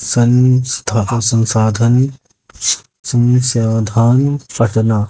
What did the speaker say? संस्थापक संसाधन संसाधान पटना--